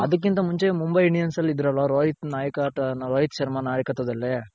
ಅದಕ್ಕಿಂತ ಮುಂಚೆ ಮುಂಬಯಿ Indians ಅಲ್ಲಿ ಇದ್ರಲ ರೋಹಿತ್ ನಾಯಕ್ ರೋಹಿತ್ ಶರ್ಮ ನಾಯಕತ್ವದಲ್ಲಿ